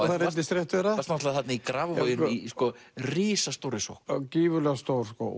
það reyndist rétt vera þú varst þarna í Grafarvogi í risastórri sókn já gífurlega stór